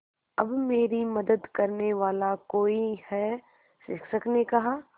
अब मेरी मदद करने वाला कोई है शिक्षक ने कहा